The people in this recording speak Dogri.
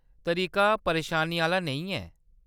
तरीका परेशानी आह्‌ला नेईं ऐ।